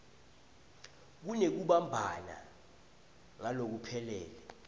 kunekubumbana ngalokuphelele